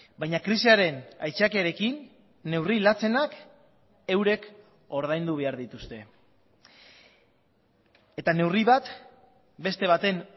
baina krisiaren aitzakiarekin neurri latzenak eurek ordaindu behar dituzte eta neurri bat beste baten